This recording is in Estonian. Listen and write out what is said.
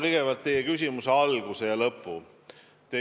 Kõigepealt teie küsimuse algusest ja lõpust.